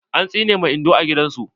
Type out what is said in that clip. An tsine ma Indo are gidan su.